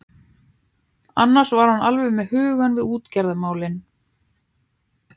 Annars var hann alveg með hugann við útgerðarmálin.